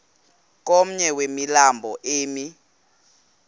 komnye wemilambo emi